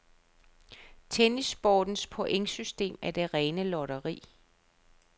Tennissportens pointsystem er det rene lotteri.